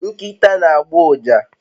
Nkita na agba uja